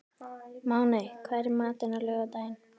Máney, hvað er í matinn á laugardaginn?